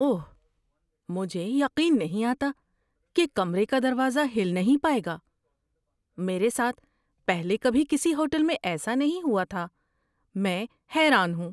اوہ، مجھے یقین نہیں آتا کہ کمرے کا دروازہ ہل نہیں پائے گا! میرے ساتھ پہلے کبھی کسی ہوٹل میں ایسا نہیں ہوا تھا۔ میں حیران ہوں!